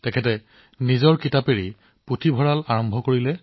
তেওঁ নিজৰ কিতাপেৰে পুথিভঁৰাল আৰম্ভ কৰিছিল